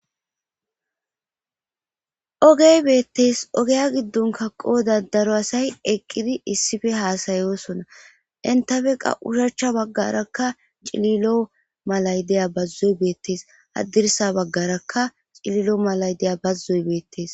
ogey beettees ogeya giddonka qooda daro asay eqqidi issife haasayosonna intafe qa ushachcha baggarakka cililo malay deya bazzoy beettees haddirsa baggarakka cililo malay de'iya bazoy beettees